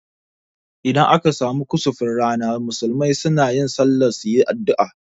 Idan aka samu kusufin rana, musulmai sunayin sallah suyi addua